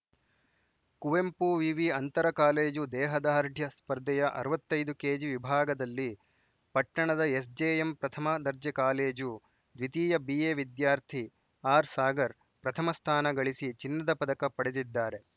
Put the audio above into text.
ಕುವೆಂಪು ವಿವಿ ಅಂತರಕಾಲೇಜು ದೇಹದಾಢ್ರ್ಯ ಸ್ಪರ್ಧೆಯ ಅರವತ್ತೈದು ಕೆಜಿ ವಿಭಾಗದಲ್ಲಿ ಪಟ್ಟಣದ ಎಸ್‌ಜೆಎಂ ಪ್ರಥಮ ದರ್ಜೆ ಕಾಲೇಜು ದ್ವಿತೀಯ ಬಿಎ ವಿದ್ಯಾರ್ಥಿ ಆರ್‌ಸಾಗರ್‌ ಪ್ರಥಮ ಸ್ಥಾನ ಗಳಿಸಿ ಚಿನ್ನದ ಪದಕ ಪಡೆದಿದ್ದಾರೆ